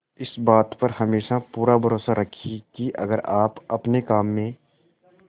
इस बात पर हमेशा पूरा भरोसा रखिये की अगर आप अपने काम में